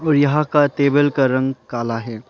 और यहां का तेबल का रंग काला है।